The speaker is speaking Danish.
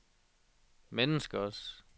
menneskers